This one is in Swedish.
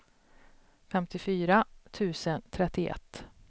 femtiofyra tusen trettioett